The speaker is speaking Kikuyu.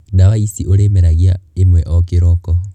Ndawa ici ũrĩ meragia ĩmwe o kĩroko.